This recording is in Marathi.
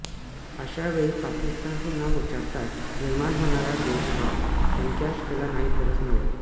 अशा वेळी पाकिस्तान हे नाव उच्चारताच निर्माण होणारा द्वेषभाव एन्कॅश केला नाही तरच नवल